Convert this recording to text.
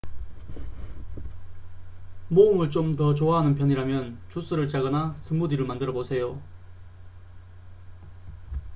모험을 좀 더 좋아하는 편이라면 주스를 짜거나 스무디를 만들어 보세요